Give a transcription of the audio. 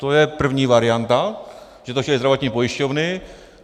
To je první varianta, že to chtěly zdravotní pojišťovny.